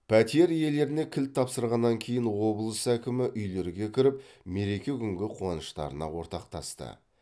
пәтер иелеріне кілт тапсырғаннан кейін облыс әкімі үйлерге кіріп мереке күнгі қуаныштарына ортақтасты